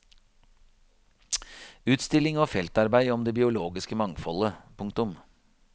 Utstilling og feltarbeid om det biologiske mangfoldet. punktum